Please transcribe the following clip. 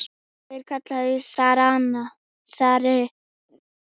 Þeir kalla þig zarinn!